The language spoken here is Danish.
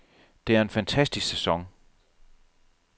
Det er en fantastisk sæson.